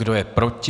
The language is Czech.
Kdo je proti?